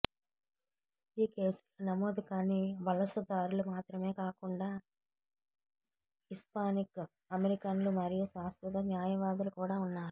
ఈ కేసుల్లో నమోదుకాని వలసదారులు మాత్రమే కాకుండా హిస్పానిక్ అమెరికన్లు మరియు శాశ్వత న్యాయవాదులు కూడా ఉన్నారు